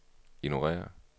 ignorér